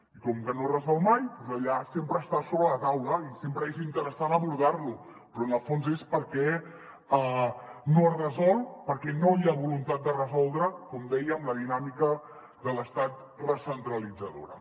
i com que no es resol mai sempre està sobre la taula i sempre és interessant abordar·lo però en el fons és perquè no es resol perquè no hi ha voluntat de resol·dre’l com deia amb la dinàmica de l’estat recentralitzadora